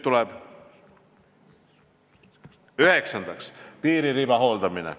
Üheksandaks, piiririba hooldamine.